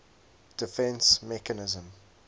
defence mechanism